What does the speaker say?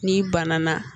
N'i banana